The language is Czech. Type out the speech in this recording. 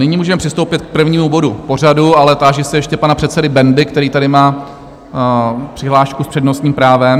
Nyní můžeme přistoupit k prvnímu bodu pořadu, ale táži se ještě pana předsedy Bendy, který tady má přihlášku s přednostním právem.